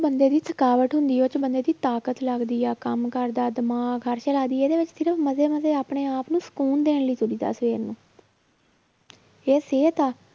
ਬੰਦੇ ਦੀ ਥਕਾਵਟ ਹੁੰਦੀ ਆ ਉਹ 'ਚ ਬੰਦੇ ਦੀ ਤਾਕਤ ਲੱਗਦੀ ਆ ਕੰਮ ਕਰਦਾ ਦਿਮਾਗ ਮਜ਼ੇ ਮਜ਼ੇ ਆਪਣੇ ਆਪ ਨੂੰ ਸ਼ਕੂਨ ਦੇਣ ਲਈ ਤੁਰੀਦਾ ਸਵੇਰ ਨੂੰ ਇਹ ਸਿਹਤ ਆ